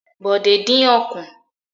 Bòdé dín ọ̀kùn.